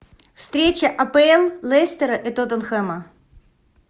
встреча апл лестера и тоттенхэма